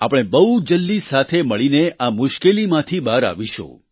આપણે બહુ જલ્દી સાથે મળીને આ મુશ્કેલીમાંથી બહાર આવીશું